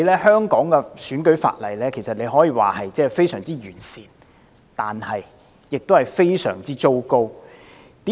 香港的選舉法例可以說是非常完善，但亦是非常糟糕。